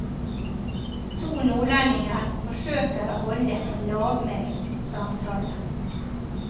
To nordlendinger forsøker å holde en lavmælt samtale.